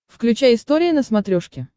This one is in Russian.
включай история на смотрешке